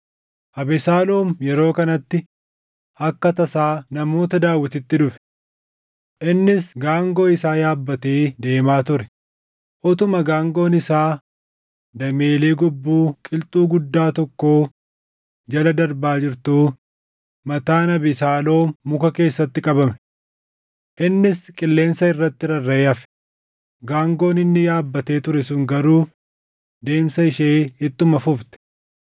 Abesaaloom yeroo kanatti akka tasaa namoota Daawititti dhufe. Innis gaangoo isaa yaabbatee deemaa ture; utuma gaangoon isaa dameelee gobbuu qilxuu guddaa tokkoo jala darbaa jirtuu mataan Abesaaloom muka keessatti qabame. Innis qilleensa irratti rarraʼee hafe; gaangoon inni yaabbatee ture sun garuu deemsa ishee ittuma fufte.